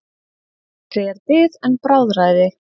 Betri er bið en bráðræði.